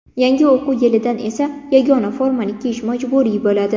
Yangi o‘quv yilidan esa yagona formani kiyish majburiy bo‘ladi.